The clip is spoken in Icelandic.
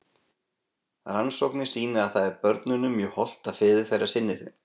Rannsóknir sýna að það er börnunum mjög hollt að feður þeirra sinni þeim.